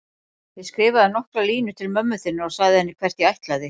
Ég skrifaði nokkrar línur til mömmu þinnar og sagði henni hvert ég ætlaði.